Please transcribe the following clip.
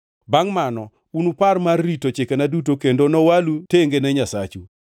Bangʼ mano unupar mar rito chikena duto kendo nowalu tenge ne Nyasachu.